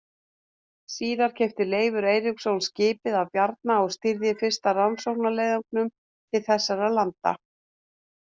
Síðar keypti Leifur Eiríksson skipið af Bjarna og stýrði fyrsta rannsóknarleiðangrinum til þessara landa.